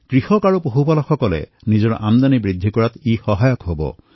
কৃষক আৰু পশুপালকসকলৰ আমদানি বৃদ্ধি হব